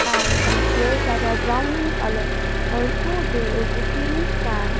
and some chairs that are brown in color also there is the ceiling fan.